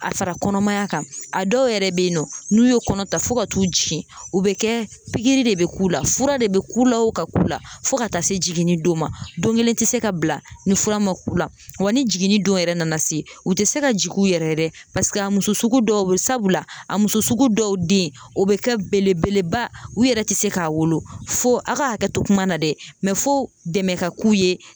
A fara kɔnɔmaya kan a dɔw yɛrɛ be yen nɔ n'u ye kɔnɔ ta fɔ ka t'u jigin u be kɛ pigiri de be k'u la fura de be k'u la o ka k'u la fɔ ka taa se jiginni don ma don gelen te se ka bila ni fura ma k'u la wa ni jiginni don yɛrɛ nana se u te se ka jigin u yɛrɛ ye dɛ paseke a muso sugu dɔw be yen sabula a muso sugu dɔw den o be kɛ belebeleba u yɛrɛ te se k'a wolo fo a ka hakɛ to kuma na dɛ fo dɛmɛ ka k'u ye